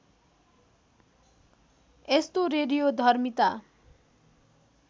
यस्तो रेडियोधर्मिता